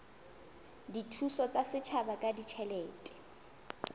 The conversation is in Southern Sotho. dithuso tsa setjhaba ka ditjhelete